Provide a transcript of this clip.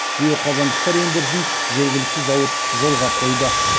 биоқазандықтар өндірісін жергілікті зауыт жолға қойды